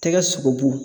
Tɛgɛ sogobu